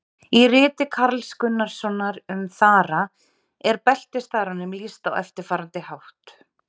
Í riti Karls Gunnarssonar um þara er beltisþaranum lýst á eftirfarandi hátt: